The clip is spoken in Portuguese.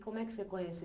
Como é que você conheceu